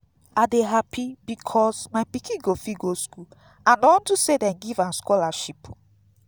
i dey happy because my pikin go fit go school and na unto say dey give am scholarship